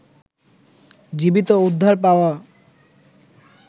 জীবিত উদ্ধার পাওয়া